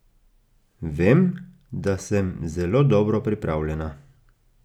Vem, da sem zelo dobro pripravljena.